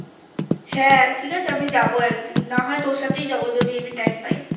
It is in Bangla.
হ্যাঁ ঠিক আছে আমি যাবো একদিন না হয় তোর সাথেই যাবো যদি এমনি Time পাই